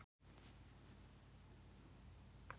Er hægt að slá einhverju máli á það?